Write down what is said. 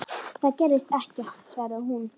Það gerðist ekkert, svaraði hún.